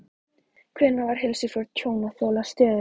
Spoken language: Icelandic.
Hvenær var heilsufar tjónþola stöðugt?